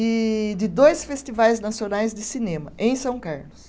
e de dois festivais nacionais de cinema, em São Carlos.